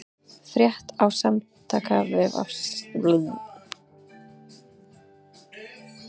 Frétt á vef Samtaka atvinnulífsins